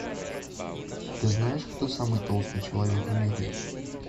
ты знаешь кто самый толстый человек в мире